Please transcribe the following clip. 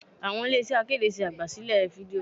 Àwọn ilé iṣẹ́ akéde ṣe àgbà sílẹ̀ fídíò.